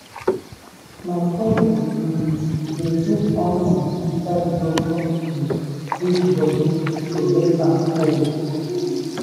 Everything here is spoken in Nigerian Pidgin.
my cousin um dey put onion inside broken um fridge body to make am cold.